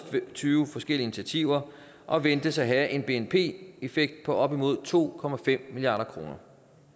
tyve forskellige initiativer og ventes at have en bnp effekt på op imod to milliard kroner